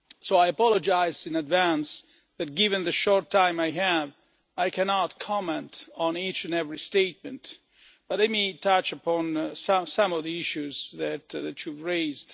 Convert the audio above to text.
I apologise in advance that, given the short time I have, I cannot comment on each and every statement, but let me touch on some of the issues that you raised.